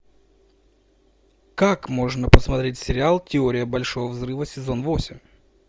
как можно посмотреть сериал теория большого взрыва сезон восемь